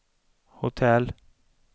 hotell